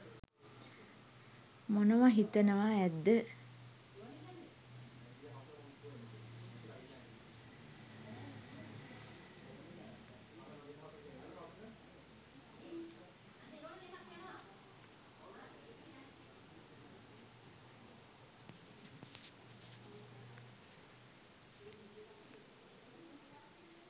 මොනවා හිතනවා ඇද්ද?